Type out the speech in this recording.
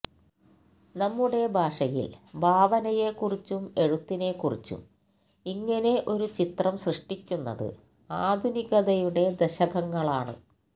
നമ്മുടെ ഭാഷയില് ഭാവനയെക്കുറിച്ചും എഴുത്തിനെക്കുറിച്ചും ഇങ്ങനെ ഒരു ചിത്രം സൃഷ്ടിക്കുന്നത് ആധുനികതയുടെ ദശകങ്ങളാണ്